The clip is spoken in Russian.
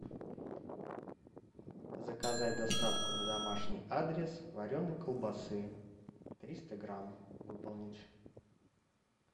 заказать доставку на домашний адрес вареной колбасы триста грамм выполнить